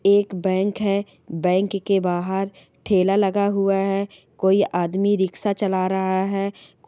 एक बैंक है बैंक के बाहर ठेला लगा हुआ है कोई आदमी रिक्शा चला रहा है कोई--